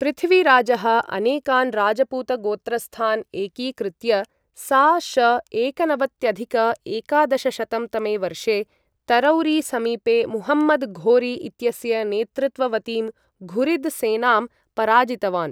पृथ्वीराजः अनेकान् राजपूतगोत्रस्थान् एकीकृत्य सा.श.एकनवत्यधिक एकादशशतं तमे वर्षे तरौरीसमीपे मुहम्मदघोरी इत्यस्य नेतृत्ववतीं घुरिद् सेनां पराजितवान्।